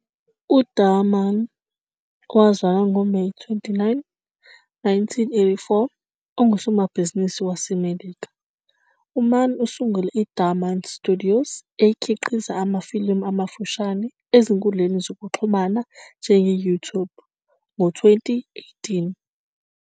UDhar Mann, owazalwa ngoMeyi 29, 1984, ungusomabhizinisi waseMelika. UMann usungule iDhar Mann Studios, ekhiqiza amafilimu amafushane ezinkundleni zokuxhumana njenge-YouTube, ngo-2018.